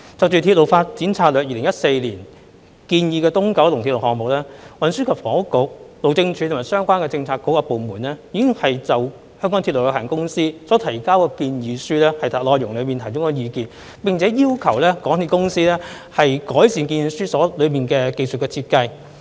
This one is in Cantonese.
關於《鐵路發展策略2014》建議的東九龍鐵路項目，運房局、路政署及相關政策局和部門已就香港鐵路有限公司所提交的建議書內容提供意見，並要求港鐵公司改善建議書中的技術設計。